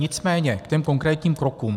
Nicméně k těm konkrétním krokům.